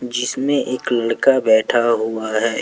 जिसमें एक लड़का बैठा हुआ है।